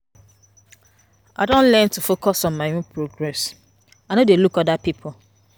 I don learn to focus on my own own progress, I no dey look oda pipo.